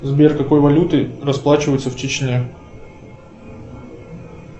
сбер какой валютой расплачиваются в чечне